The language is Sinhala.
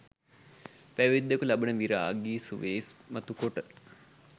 පැවිද්දකු ලබන විරාගි සුවය ඉස්මතු කොට